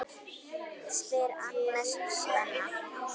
spyr Agnes Svenna.